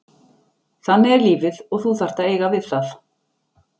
Þannig er lífið og þú þarft að eiga við það,